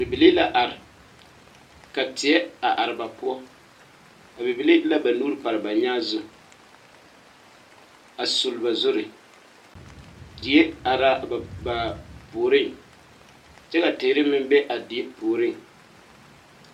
Bibilii la are ka teɛ a are ba poɔ a bibilii de la ba nuuri pare ba nyaa zu a suli ba zuri die are la a ba a ba puoriŋ kyɛ ka teere meŋ be a die puoriŋ.